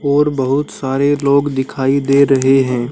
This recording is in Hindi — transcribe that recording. और बहुत सारे लोग दिखाई दे रहे हैं।